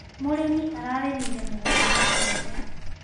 Mũrĩmi ararĩmire mũgũnda wa mbembe.